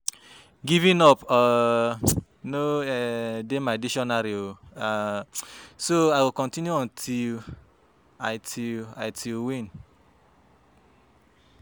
Giving up um no um dey for my dictionary um so I go continue until um until um until I win